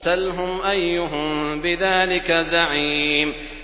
سَلْهُمْ أَيُّهُم بِذَٰلِكَ زَعِيمٌ